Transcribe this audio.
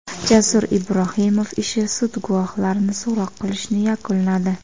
Jasur Ibrohimov ishi: Sud guvohlarni so‘roq qilishni yakunladi.